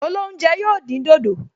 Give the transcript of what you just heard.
Olóúnjẹ yóò dín dòdò